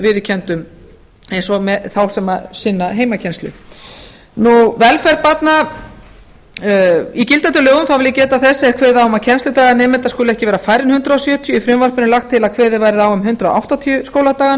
viðurkenndum eins og þeim sem sinna heimakennslu í gildandi lögum vil ég geta þess að kveðið er á um að kennsludagar nemenda skuli ekki vera færri en hundrað sjötíu í frumvarpinu er lagt til að kveðið verði á um hundrað áttatíu skóladaga